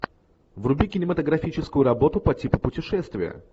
вруби кинематографическую работу по типу путешествие